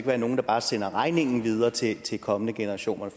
være nogle der bare sender regningen videre til til kommende generationer